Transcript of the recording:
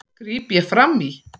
gríp ég fram í.